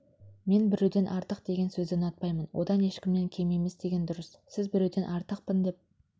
мен біреуден артық деген сөзді ұнатпаймын одан ешкімнен кем емес деген дұрыс сіз біреуден артықпын деп